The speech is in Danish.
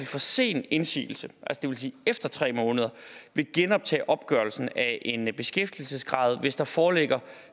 for sen indsigelse det vil sige efter tre måneder vil genoptage opgørelsen af en beskæftigelsesgrad hvis der foreligger